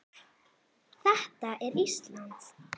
Þetta er Ísland.